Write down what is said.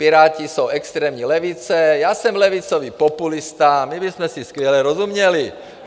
Piráti jsou extrémní levice, já jsem levicový populista, my bychom si skvěle rozuměli.